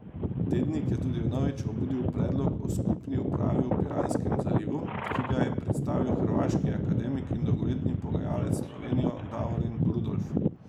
Tednik je tudi vnovič obudil predlog o skupni upravi v Piranskem zalivu, ki ga je predstavil hrvaški akademik in dolgoletni pogajalec s Slovenijo Davorin Rudolf.